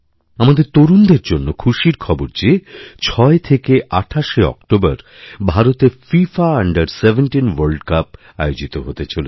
আমাদের তরুণদের জন্য খুশির খবর যে ৬ থেকে ২৮শে অক্টোবর ভারতে ফিফা আণ্ডারসেভেনটিন ওয়ার্ল্ড কাপ আয়োজিত হতে চলেছে